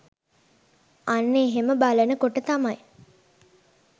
අන්න එහෙම බලන කොට තමයි